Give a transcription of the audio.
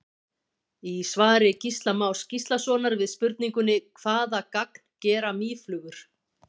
Í svari Gísla Más Gíslasonar við spurningunni Hvaða gagn gera mýflugur?